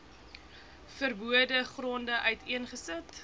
verbode gronde uiteengesit